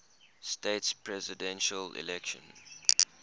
states presidential election